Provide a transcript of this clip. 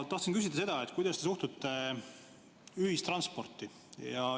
Tahtsin küsida seda, kuidas te suhtute ühistransporti.